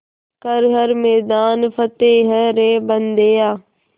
कर हर मैदान फ़तेह रे बंदेया